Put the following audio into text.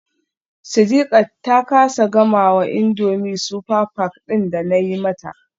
Sidiqat ta kasa gamawa indomie super pack din da nayi mata.